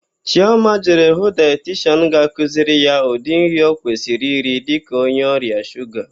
Chịọma jere hụ daetishian ga-akụziri ya ụdị nri ọ kwesịrị iri dịka onye ọrịa shuga.